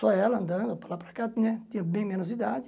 Só ela andando, para lá para cá né tinha bem menos idade.